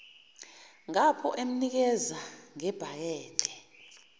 ngapho emnikeza ngebhakede